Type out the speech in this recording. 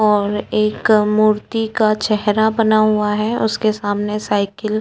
ओर एक मूर्ती का चेहरा बना हुआ है और उसके सामने सायकिल --